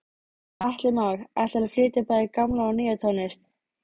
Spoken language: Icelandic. Atli Már: Ætlarðu að flytja bæði gamla og nýja tónlist?